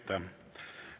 Aitäh!